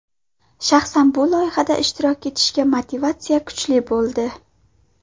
Shaxsan bu loyihada ishtirok etishga motivatsiya kuchli bo‘ldi.